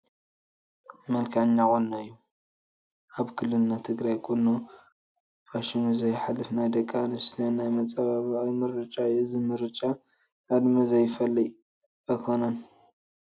መልክዐኛ ቁኖ እዩ፡፡ ኣብ ክልልና ትግራይ ቁኖ ፋሽኑ ዘይሓልፍ ናይ ደቂ ኣንስትዮ ናይ መፀባበቒ ምርጫ እዩ፡፡ እዚ ምርጫ ዕድመ ዝፈልይ ኣይኮነን፡፡